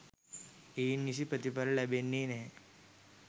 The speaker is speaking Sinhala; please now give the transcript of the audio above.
එයින් නිසි ප්‍රතිඵල ලැබෙන්නේ නැහැ.